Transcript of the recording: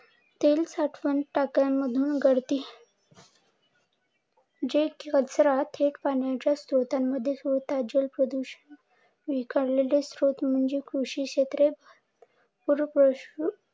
तेल साठवण मधून गळती जे कचरा थेट पाण्याच्या स्त्रोटांमध्ये सोडतात जल प्रदूषण. विखरकेले क्षेत्र म्हणजे कृषी क्षेत्र